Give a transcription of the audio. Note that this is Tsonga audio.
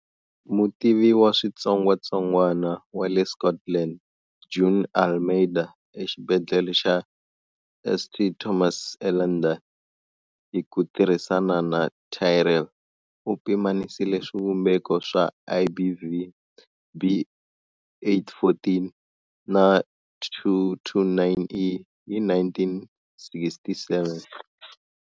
Mutivi wa switsongwatsongwana wa le Scotland June Almeida eXibedlhele xa St Thomas eLondon, hi ku tirhisana na Tyrrell, u pimanisile swivumbeko swa IBV, B814 na 229E hi 1967.